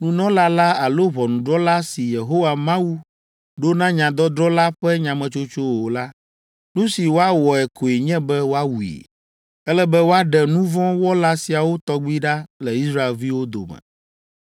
nunɔla la alo ʋɔnudrɔ̃la si Yehowa Mawu ɖo na nyadɔdrɔ̃ la ƒe nyametsotso o la, nu si woawɔe koe nye be woawui. Ele be woaɖe nu vɔ̃ wɔla siawo tɔgbi ɖa le Israelviwo dome.